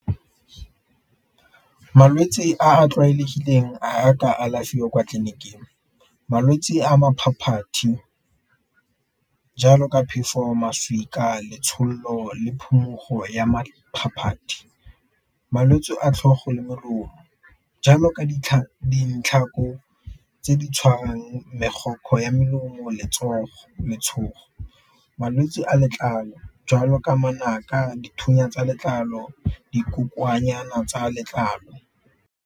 Malwetsi a a tlwaelegileng a a ka alafiwang kwa tleliniking malwetsi a jalo ka phefo, letshololo, le phumogo ya . Malwetse a tlhogo le jalo ka tse di tshwarang ya melomo letshogo, malwetse a letlalo jwalo ka manaka, dithunya tsa letlalo, dikokoanyana tsa letlalo.